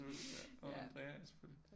Nå Andrea ja selvfølgelig